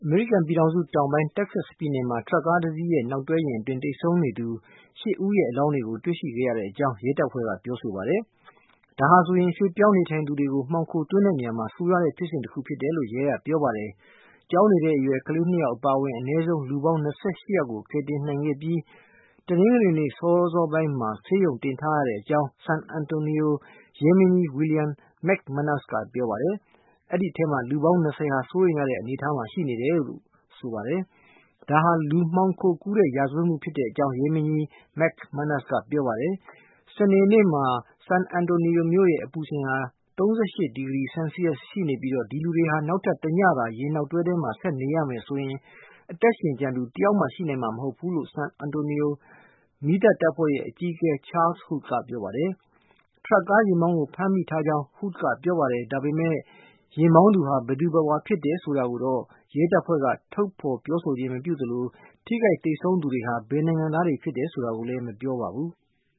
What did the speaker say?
မေရိကန်ပြည်ထောင်စု တောင်ပိုင်း Texas ပြည်နယ်မှာ ထရပ်ကားတစီးရဲ့ နောက်တွဲယာဉ်အတွင်း သေဆုံးနေသူ ၈ ဦး ရဲ့ အလောင်းတွေကို တွေ့ရှိခဲ့ရကြောင်း ရဲတပ်ဖွဲ့ကပြောဆိုပါတယ်။ ဒါဟာဆိုရင် ရွှေ့ပြောင်းနေထိုင်သူ တွေကို မှောင်ခို သွင်းနေရာမှာ ဆိုးရွားတဲ့ ဖြစ်စဉ်တခုလို့ ရဲကပြောပါတယ်။ ကျောင်းနေတဲ့ အရွယ် ကလေး ၂ ယောက် အပါအဝင် အနည်းဆုံး လူပေါင်း ၂၈ ယောက်ကို ကယ်တင် နိုင်ခဲ့ပြီး တနင်္ဂနွေနေ့ စောစောပိုင်းမှာ ဆေးရုံတင်ထားရကြောင်း San Antonio ရဲမင်းကြီး William McManus က ပြောပါတယ်။ အဲဒီအထဲက လူပေါင်း ၂၀ ဟာ စိုးရိမ်ရတဲ့ အနေအထားမှာ ရှိနေတယ်လို့ ဆိုပါတယ်။ ဒါဟာ လူမှောင်ခိုကူးတဲ့ ရာဇဝတ်မှု ဖြစ်ကြောင်း ရဲမင်းကြီး McManus က ပြောပါတယ်။ စနေနေ့မှာ San Antonio မြို့ အပူချိန်ဟာ ၃၈ ဒီဂရီ ဆယ်လ်စီရပ်စ် ရှိနေပြီး၊ ဒီလူတွေဟာ နောက်ထပ် တညသာ ယာဉ်နောက်တွဲ ထဲမှာ ဆက်နေရမယ်ဆိုရင် အသက်ရှင်ကျန်သူ တယောက်မှ ရှိနိုင်မှာ မဟုတ်ကြောင်း ဆန်အန်တိုနီယို မီးသတ်တပ်ဖွဲ့ရဲ့ အကြီးအကဲ Charles Hood ကပြောပါတယ်။ ထရပ်ကား ယာဉ်မောင်းကို ဖမ်းဆီးထားကြောင်း Hood က ပြောပါတယ်။ ဒါပေမဲ့ ယာဉ်မောင်းသူဟာ ဘယ်သူဘယ်ဝါ ဖြစ်တယ်ဆိုတာ ကိုတော့ ရဲတပ်ဖွဲ့က ထုတ်ဖေါ်မပြောသလို၊ ထိခိုက် သေဆုံးသူတွေဟာ ဘယ်နိုင်ငံသားတွေ ဖြစ်တယ် ဆိုတာကိုလည်း မပြောပါဘူး။